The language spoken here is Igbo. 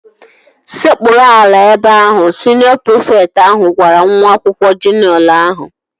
Sekpuru ala ebe ahu! Skuul prịfekt ahụ gwara nwa akwụkwọ juniọ ahụ